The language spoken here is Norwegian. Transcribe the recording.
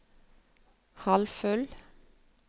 halvfull